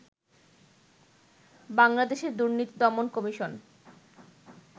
বাংলাদেশের দুর্নীতি দমন কমিশন